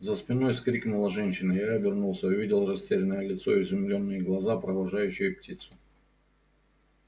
за спиной вскрикнула женщина я обернулся увидел растерянное лицо изумлённые глаза провожающие птицу